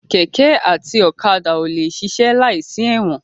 Kẹ̀kẹ́ àti ọ̀kadà ò lè ṣiṣẹ́ láìsí ẹ̀wọ̀n.